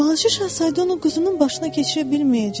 Balaca Şahzadə onu quzunun başına keçirə bilməyəcəkdi.